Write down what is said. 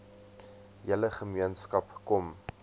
hele gemeenskap kom